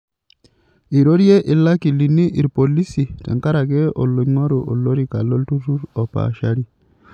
Eirorie ilakilini ilpolisi tenkaraki oloing'oru olorika lolturrur opaashari.